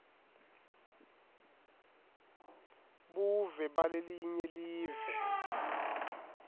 buve balelinye live